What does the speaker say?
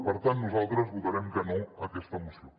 per tant nosaltres votarem que no a aquesta moció